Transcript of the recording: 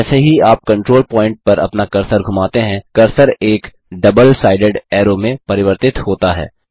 जैसे ही आप कंट्रोल पॉइन्ट पर अपना कर्सर घुमाते हैं कर्सर एक डबल साइडेड ऐरो में परिवर्तित होता है